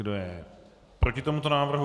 Kdo je proti tomuto návrhu?